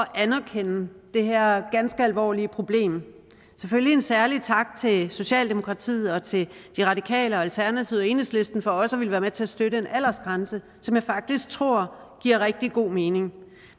anerkende det her ganske alvorlige problem selvfølgelig særlig tak til socialdemokratiet og til de radikale og alternativet og enhedslisten for også at ville være med til at støtte en aldersgrænse som jeg faktisk tror giver rigtig god mening